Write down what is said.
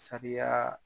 Sariya